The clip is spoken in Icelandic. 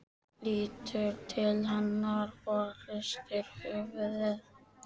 Lítur til hennar og hristir höfuðið.